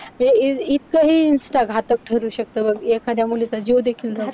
म्हणजे हे इतकं हे insta घातक ठरू शकत बघ. एखादया मुलीचा जीव देखील घेऊ